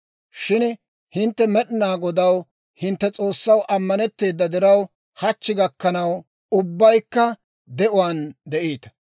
Shin hintte Med'inaa Godaw, hintte S'oossaw, ammanetteeda diraw, hachchi gakkanaw ubbaykka de'uwaan de'iita.